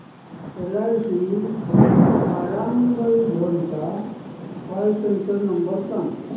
LIC Warangal zone चा call centre number सांग